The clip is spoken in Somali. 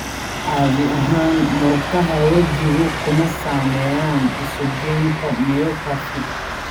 Caadi ahaan murqaha wejigu kuma saameeyaan isu geynta myopathy.